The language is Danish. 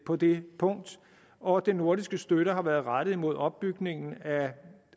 på det punkt og den nordiske støtte har været rettet imod opbygningen af